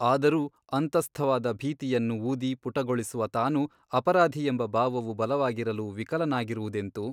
ಆದರೂ ಅಂತಸ್ಥವಾದ ಭೀತಿಯನ್ನು ಊದಿ ಪುಟಗೊಳಿಸುವ ತಾನು ಅಪರಾಧಿಯೆಂಬ ಭಾವವು ಬಲವಾಗಿರಲು ವಿಕಲನಾಗದಿರುವುದೆಂತು?